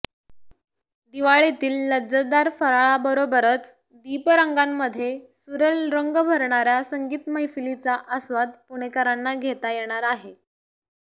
दिवाळीतील लज्जतदार फराळाबरोबरच दीपरंगांमध्ये सुरेल रंग भरणाऱ्या संगीत मैफलींचा आस्वाद पुणेकरांना घेता येणार आहे